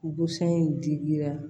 Busan in digira